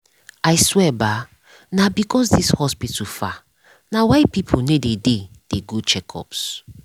i swear bah nah because this hospital far nah why people no dey dey go checkups